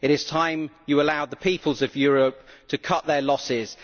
It is time you allowed the peoples of Europe to cut their losses.